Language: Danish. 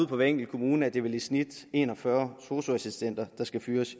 for hver enkelt kommune er det vel i snit en og fyrre sosu assistenter der skal fyres